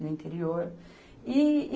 No interior. E e